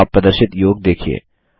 अब आप प्रदर्शित योग देखिए